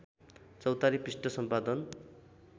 चौतारी पृष्ठ सम्पादन